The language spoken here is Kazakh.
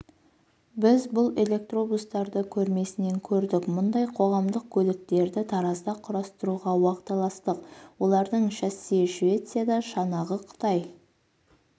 біз бұл электробустарды көрмесінен көрдік мұндай қоғамдық көліктерді таразда құрастыруға уағдаластық олардың шассиі швецияда шанағы қытай